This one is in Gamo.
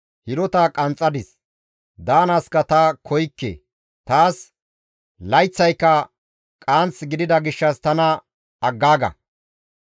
Hidota qanxxadis; daanaaska ta koykke; taas layththayka qaanth gidida gishshas tana aggaaga.